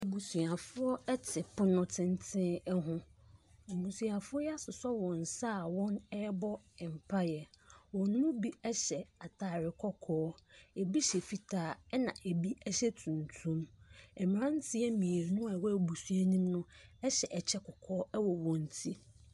Abusuafoɔ ɛte pono tenten ɛho abusuafoɔ yi asosɔ wɔn nsa a wɔn ɛbɔ mpaeɛ wɔn mu bi ɛhyɛ ataare kɔkɔɔ ebi hyɛ fitaa ɛna ebi ɛhyɛ tuntum mmranteɛ miebu a ɛwɔ abusua no mu no ɛhyɛ ɛkyɛ kɔkɔɔ wɔ wɔn ti.